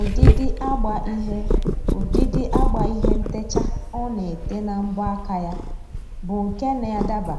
Ụdịdị agba ihe Ụdịdị agba ihe ntecha ọ na-ete na mbọ aka ya bụ nke na-adaba